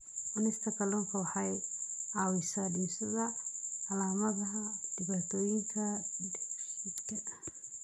Cunista kalluunka waxa ay caawisaa dhimista calaamadaha dhibaatooyinka dheefshiidka.